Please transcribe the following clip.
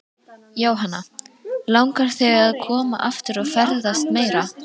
Jóhanna: Langar þig að koma aftur og ferðast meira?